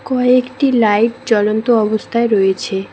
কয়েকটি লাইট জ্বলন্ত অবস্থায় রয়েছে।